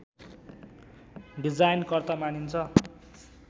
डिजायनकर्ता मानिन्छ